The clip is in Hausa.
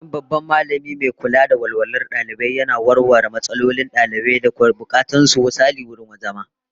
Ofishin babban Mallami mai kula da walwalar dalibai yana warware matsalolin dalibai da bukatun su, misali wurin zama